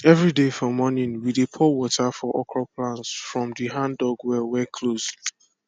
everyday for morning we dey pour water for okro plant from the handdug well wey close